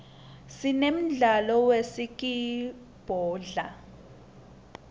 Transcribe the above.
sinemdlalo webhaskidbhola